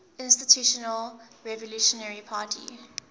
institutional revolutionary party